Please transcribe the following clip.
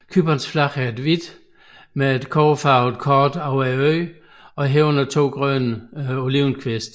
Cyperns flag er hvidt med et kobberfarvet kort over øen og herunder to grønne olivenkviste